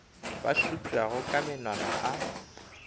ba šupšago ka menwana a